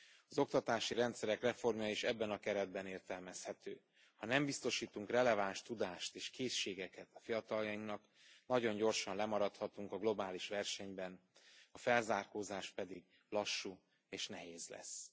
Az oktatási rendszerek reformja is ebben a keretben értelmezhető ha nem biztosítunk releváns tudást és készségeket a fiataljainknak, nagyon gyorsan lemaradhatunk a globális versenyben, a felzárkózás pedig lassú és nehéz lesz.